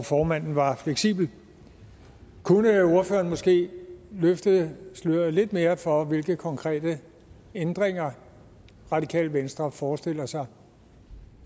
formanden var fleksibel kunne ordføreren måske løfte sløret lidt mere for hvilke konkrete ændringer radikale venstre forestiller sig